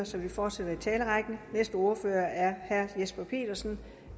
så vi fortsætter i talerrækken næste ordfører er herre jesper petersen